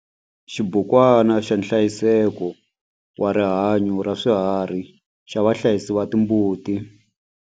Xibukwana xa nhlayiseko wa rihanyo ra swiharhi xa vahlayisi va timbuti.